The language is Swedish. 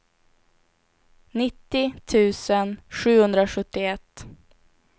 nittio tusen sjuhundrasjuttioett